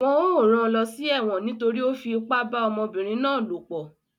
Wọ́n ó ran lọ sẹ́wọ̀n nítorí ó fi ipá bá ọmọbìnrin náà lòpọ̀